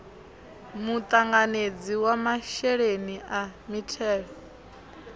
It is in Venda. muṱanganedzi wa masheleni a mithelo